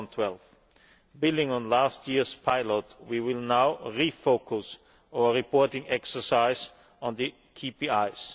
112. Building on last year's pilot, we will now refocus our reporting exercise on the KPIs.